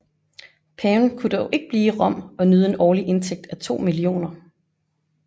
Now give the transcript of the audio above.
Paven kunne dog blive i Rom og nyde en årlig indtægt af 2 millioner